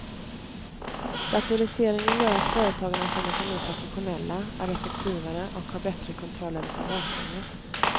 Datoriseringen gör att företagarna känner sig mer professionella, är effektivare och har bättre kontroll över sin verksamhet.